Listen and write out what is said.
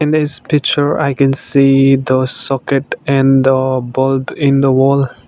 in this picture i can see the socket and the bulb in the wall.